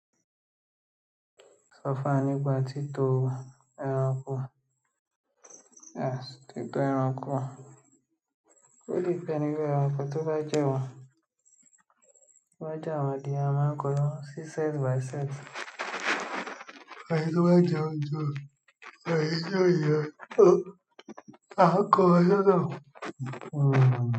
Sọ fún wa nípa títo ẹranko, en títo ẹranko. Ó depend lórí àwọn nǹkan tó bá jẹ́ wọn, to bá jẹ́ àwọn adìẹ a máa ń kọ lọwọ sí set by set èyí tó bá jẹun ju, èyí to jẹun hun, àá ko wọn sọ́tọ̀, hun huun.